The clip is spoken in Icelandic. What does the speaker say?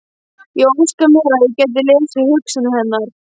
Ég óskaði mér að ég gæti lesið hugsanir hennar.